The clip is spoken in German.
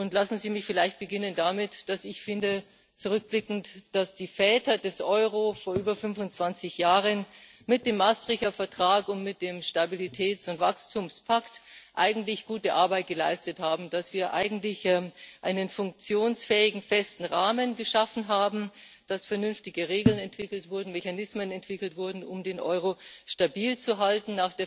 Lassen Sie mich vielleicht damit beginnen, dass ich finde zurückblickend dass die Väter des Euro vor über 25 Jahren mit dem Maastrichter Vertrag und mit dem Stabilitäts und Wachstumspakt eigentlich gute Arbeit geleistet haben, dass wir eigentlich einen funktionsfähigen, festen Rahmen geschaffen haben, dass vernünftige Regeln und Mechanismen entwickelt wurden, um den Euro stabil zu halten.